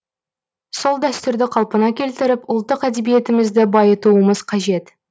сол дәстүрді қалпына келтіріп ұлттық әдебиетімізді байытуымыз қажет